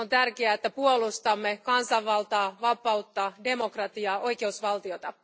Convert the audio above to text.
On tärkeää, että puolustamme kansanvaltaa, vapautta, demokratiaa, oikeusvaltiota.